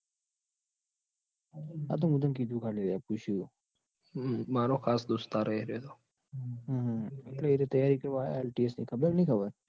આતો મુ તન કીધું ખાલી પુસ્યું. હમ મારો ખાસ દોસ્તાર હે એરીયો તો હમ એટલે એરીયો તૈયારી કરવા આયો. ની ખબર કે નઈ ખબર?